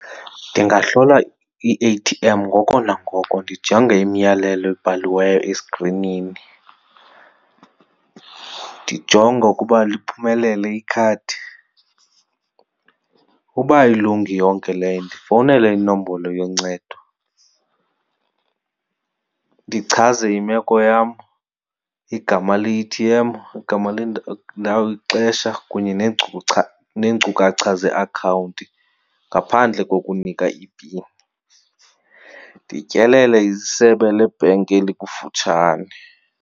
Ndingahlola i-A_T_M ngoko nangoko ndijonge imiyalelo ebhaliweyo eskrinini. Ndijonge ukuba liphumelele ikhadi. Uba ayilungi yonke leyo ndifowunele inombolo yoncedo ndichaze imeko yam, igama le-A_T_M, igama , ixesha kunye neenkcukacha zeakhawunti ngaphandle kokunika i-pin. Ndityelele isebe lebhenki elikufutshane.